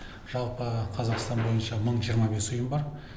жалпы қазақстан бойынша мың жиырма бес ұйым бар